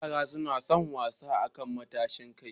Yara suna son wasa akan matashin kai.